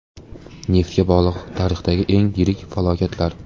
Neftga bog‘liq tarixdagi eng yirik falokatlar.